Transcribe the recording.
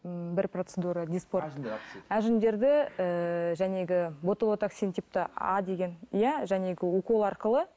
м бір процедура әжімдерді ііі ботолотаксин типті а деген иә укол арқылы